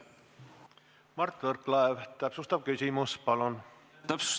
Mart Võrklaev, täpsustav küsimus palun!